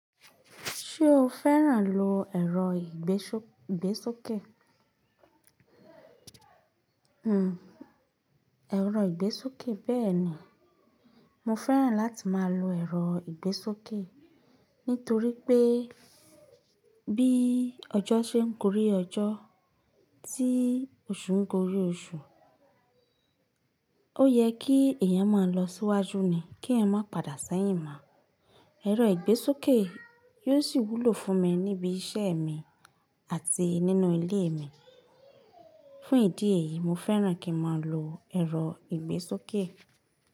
Ṣé o fẹ́ràn lo ẹ̀rọ ìgbésókè? Hmmm ẹ̀rọ ìgbésókè béèni. Mo fẹ́ràn láti máa lo ẹ̀rọ ìgbésókè nítorí pé bí ọjọ́ ṣe ń kórí ọjọ́, tí oṣù górí oṣù, ó yẹ kí èèyàn máa lọ síwájú ni, kí ẹyan má pàdà sẹ́yìn mọ. Ẹ̀rọ ìgbésókè yóò ṣì wúlò fún mi níbi iṣẹ́ mi àti nínú ilé mi. Fún ìdí èyí mo fẹ́ràn kí n máa lo ẹ̀rọ ìgbésókè.